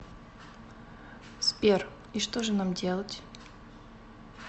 сбер и что же нам делать